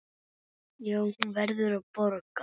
Já, hún verður að borga.